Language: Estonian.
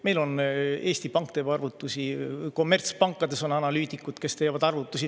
Meil on Eesti Pank, teeb arvutusi, kommertspankades on analüütikud, kes teevad arvutusi.